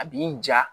A b'i ja